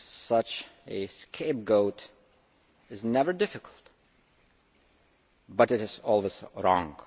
such a scapegoat is never difficult, but it is always wrong.